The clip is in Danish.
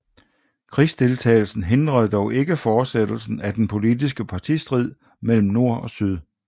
Krigsdeltagelsen hindrede dog ikke fortsættelsen af den politiske partistrid mellem nord og syd